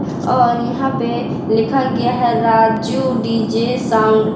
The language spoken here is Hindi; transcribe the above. और यहां पे लिखा गया है राजू डी_जे साउंड ।